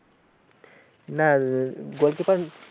না আ গোলকিপার